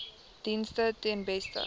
dienste ten beste